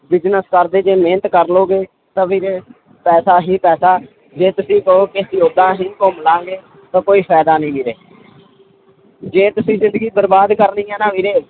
business ਕਰਦੇ ਜੇ ਮਿਹਨਤ ਕਰ ਲਓਗੇ ਤਾਂ ਵੀਰੇ ਪੈਸਾ ਹੀ ਪੈਸਾ ਜੇ ਤੁਸੀਂ ਕਹੋ ਕਿ ਅਸੀਂ ਓਦਾਂ ਹੀ ਘੁੰਮ ਲਵਾਂਗੇ ਤਾਂ ਕੋਈ ਫ਼ਾਇਦਾ ਨੀ ਵੀਰੇ ਜੇ ਤੁਸੀਂ ਜ਼ਿੰਦਗੀ ਬਰਬਾਦ ਕਰ ਲਈ ਹਨਾ ਵੀਰੇ